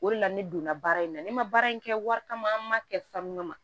O de la ne donna baara in na ne ma baara in kɛ wari kama an ma kɛ sanu kama